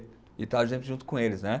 E estar a gente junto com eles, né?